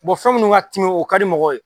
fɛn minnu ka timi o ka di mɔgɔw ye